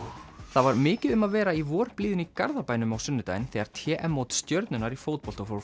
það var mikið um að vera í vorblíðunni í Garðabænum á sunnudaginn þegar t m mót Stjörnunnar í fótbolta fór